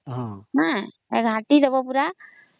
ଘଂଟିଦେବ ପୁରା